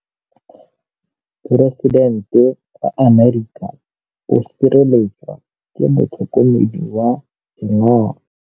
Poresitêntê wa Amerika o sireletswa ke motlhokomedi wa sengaga.